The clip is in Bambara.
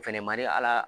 Fɛnɛ man di ala